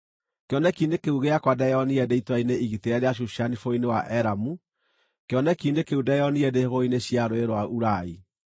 Kĩoneki-inĩ kĩu gĩakwa ndeyonire ndĩ itũũra-inĩ igitĩre rĩa Shushani bũrũri-inĩ wa Elamu; kĩoneki-inĩ kĩu ndeyonire ndĩ hũgũrũrũ-inĩ cia Rũũĩ rwa Ulai.